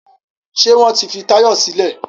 Ṣé wọ́n ti fi Táyọ̀ sílẹ̀?